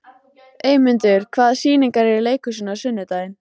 Eymundur, hvaða sýningar eru í leikhúsinu á sunnudaginn?